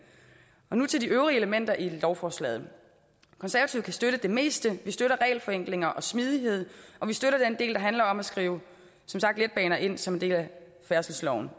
nu til de øvrige elementer i lovforslaget konservative kan støtte det meste vi støtter regelforenklinger og smidighed og vi støtter den del der handler om at skrive letbaner ind som en del af færdselsloven